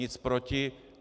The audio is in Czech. Nic proti.